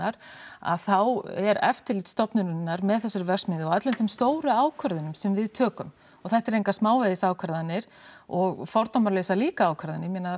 að þá eru eftirlit stofnunarinnar með þessari verksmiðju og öllum þeim stóru ákvörðunum sem við tökum og þetta eru engar smávegis ákvarðanir og fordómalausar líka ákvarðanir ég meina